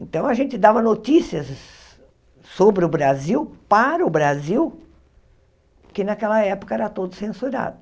Então a gente dava notícias sobre o Brasil, para o Brasil, que naquela época era todo censurado.